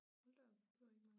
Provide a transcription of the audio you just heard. Hold da op det var ikke mange